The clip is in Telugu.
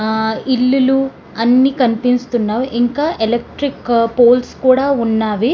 ఆహ్ ఇల్లులు అని కనిపిస్తున్నవ్ ఇంకా ఎలక్ట్రిక్ పోల్స్ కూడా ఉన్నవి.